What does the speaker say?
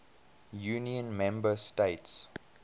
union member states